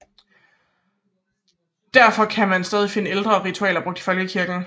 Derfor kan man stadig finde ældre ritualer brugt i folkekirken